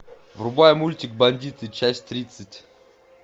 врубай мультик бандиты часть тридцать